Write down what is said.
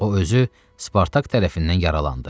O özü Spartak tərəfindən yaralandı.